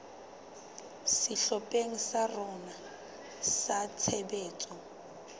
sehlopheng sa rona sa tshebetso